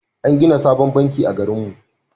An gina sabon banki a garinmu.